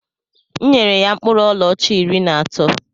M nyere ya mkpụrụ ọlaọcha iri na atọ